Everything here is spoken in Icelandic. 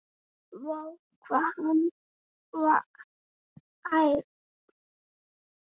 Vá, ef hann væri hrífan!